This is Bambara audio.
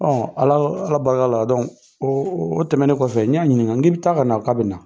Ala barika la o o tɛmɛnnen kɔfɛ n y'a ɲininka n k'i bɛ taa ka na wa k'a bɛ na.